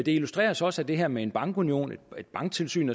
illustrerer så også at det her med en bankunion et banktilsyn